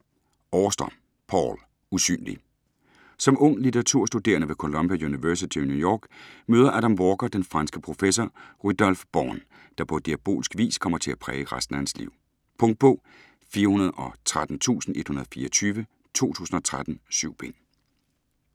Auster, Paul: Usynlig Som ung litteraturstuderende ved Columbia University i New York møder Adam Walker den franske professor Rudolf Born, der på diabolsk vis kommer til at præge resten af hans liv. Punktbog 413124 2013. 7 bind.